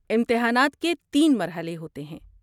امتحانات کے تین مرحلے ہوتے ہیں۔